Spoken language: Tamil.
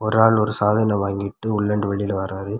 ஒரு ஆள் ஒரு சாதன வாங்கிட்டு உள்ள இருந்து வெளிய வராரு.